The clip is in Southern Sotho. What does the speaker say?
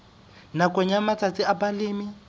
nakong ya matsatsi a balemi